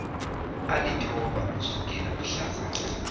alithoba ukusukela mhlazana